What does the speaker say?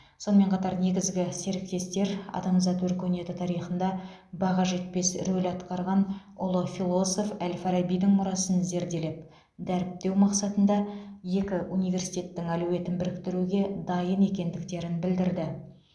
сонымен қатар негізгі серіктестер адамзат өркениеті тарихында баға жетпес рөл атқарған ұлы философ әл фарабидің мұрасын зерделеп дәріптеу мақсатында екі университеттің әлеуетін біріктіруге дайын екендіктерін білдірді